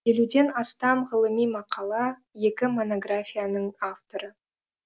елуден астам ғылыми мақала екі монографияның авторы